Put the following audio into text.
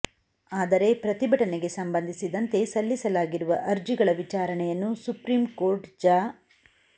ಆದರೆ ಪ್ರತಿಭಟನೆಗೆ ಸಂಬಂಧಿಸಿದಂತೆ ಸಲ್ಲಿಸಲಾಗಿರುವ ಅರ್ಜಿಗಳ ವಿಚಾರಣೆಯನ್ನು ಸುಪ್ರೀಂ ಕೋರ್ಟ್ ಜ